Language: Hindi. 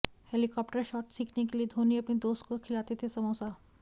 हेलीकॉप्टर शॉट सीखने के लिए धोनी अपने दोस्त को खिलाते थे समोसा